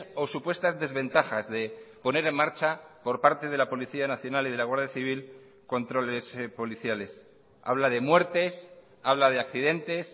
o supuestas desventajas de poner en marcha por parte de la policía nacional y de la guardia civil controles policiales habla de muertes habla de accidentes